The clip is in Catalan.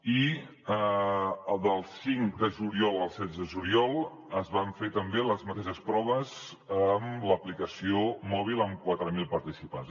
i del cinc de juliol al setze de juliol es van fer també les mateixes proves amb l’aplicació mòbil amb quatre mil participants